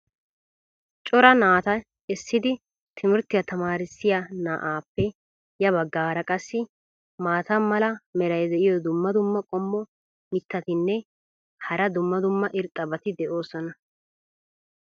cora naata essidi timirttiya tamaarissiya na"aappe ya bagaara qassi maata mala meray diyo dumma dumma qommo mitattinne hara dumma dumma irxxabati de'oosona.